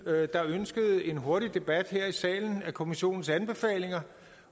der ønskede en hurtig debat her i salen af kommissionens anbefalinger